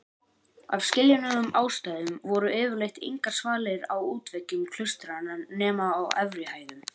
Af skiljanlegum ástæðum voru yfirleitt engar svalir á útveggjum klaustranna nema á efri hæðum.